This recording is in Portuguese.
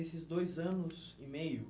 nesses dois anos e meio...